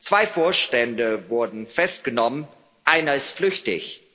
Zwei Vorstände wurden festgenommen, einer ist flüchtig.